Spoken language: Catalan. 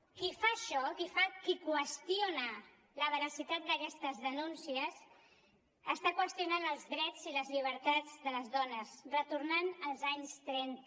qui fa això qui qüestiona la veracitat d’aquestes denúncies està qüestionant els drets i les llibertats de les dones retornant als anys trenta